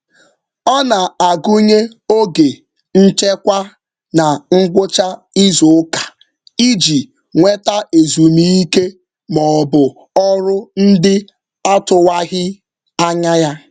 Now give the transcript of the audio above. Ọ na-agụnye oge nchekwa na ngwụcha izuụka iji nweta ezumike maọbụ ọrụ ndị atụwaghị anya ya.